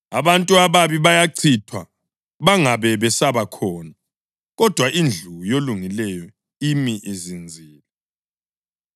Abantu ababi bayachithwa bangabe besaba khona, kodwa indlu yolungileyo imi izinzile.